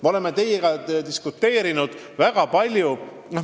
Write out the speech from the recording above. Me oleme teiega diskuteerinud väga palju.